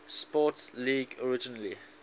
sports league originally